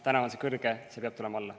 Praegu on see kõrge, see peab tulema alla.